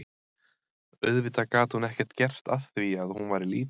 Auðvitað gat hún ekkert gert að því að hún væri lítil.